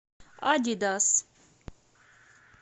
адидас